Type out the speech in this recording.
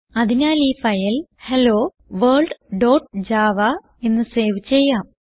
അതിനാൽ ഈ file hello world dot Java എന്ന് സേവ് ചെയ്യാം